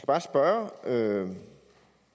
bare spørge